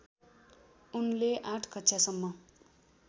उनले आठ कक्षासम्म